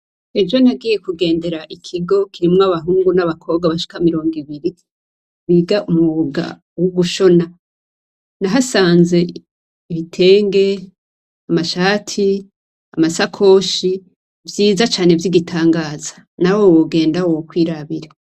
Ejo nagiye kugendera ikigo kirimwo abahungu n'abakobwa bashika mirongo ibiri biga umwuga wo gushona nahasanze ibitenge, amashati, amasakoshi vyiza cane vy'igitangaza nawe wogenda wo kwirabira